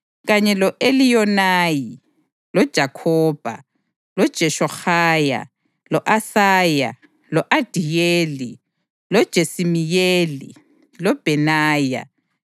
kanye lo-Eliyonayi, loJakhobha, loJeshohaya, lo-Asaya, lo-Adiyeli, loJesimiyeli, loBhenaya,